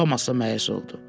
Tomas da məyus oldu.